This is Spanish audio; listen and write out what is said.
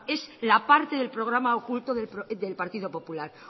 es la parte del programa oculto del partido popular